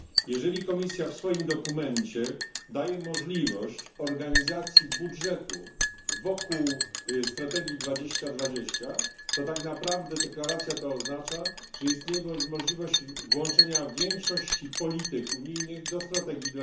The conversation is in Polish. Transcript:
Jeżeli Komisja w swoim dokumencie daje możliwość organizacji budżetu wokół strategii 2020, to tak naprawdę deklaracja ta oznacza, że istnieje możliwość włączenia większości polityk unijnych do strategii